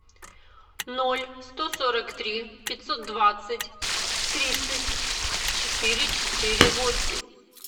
ноль сто сорок три пятьсот двадцать тридцать четыре четыре восемь